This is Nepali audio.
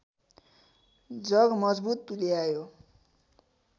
जग मजबुत तुल्यायो